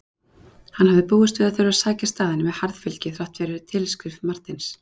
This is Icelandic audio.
Hann hafði búist við að þurfa að sækja staðinn með harðfylgi þrátt fyrir tilskrif Marteins.